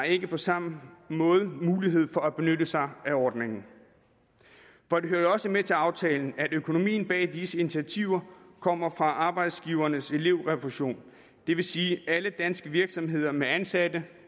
ikke på samme måde har mulighed for at benytte sig af ordningen for det hører jo også med til aftalen at økonomien bag disse initiativer kommer fra arbejdsgivernes elevrefusion det vil sige at alle danske virksomheder med ansatte